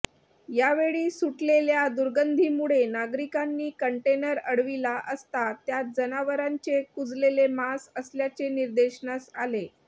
यावेळी सुटलेल्या दुर्गंधीमुळे नागरिकांनी कंटेनर अडविला असता त्यात जनावरांचे कुजलेले मांस असल्याचे निदर्शनास आले